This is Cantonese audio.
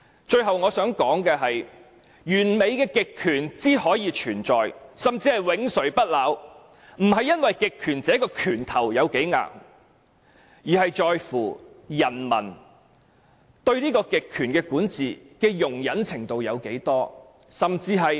最後我想說，完美的極權之所以存在，甚至永垂不朽，並不是因為極權者的拳頭有多硬，而是在乎人民對極權管治的容忍程度有多大。